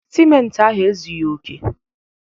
Simenti ahụ ezughi oke